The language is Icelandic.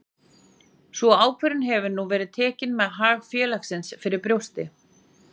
Sú ákvörðun hefur nú verið tekin með hag félagsins fyrir brjósti.